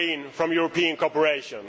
from European cooperation.